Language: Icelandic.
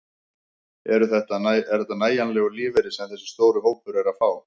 Er þetta nægjanlegur lífeyri sem þessi stóri hópur er að fá?